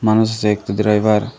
মানুষ আছে একটি ড্রাইভার --